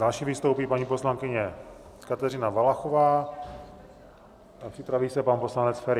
Další vystoupí paní poslankyně Kateřina Valachová a připraví se pan poslanec Feri.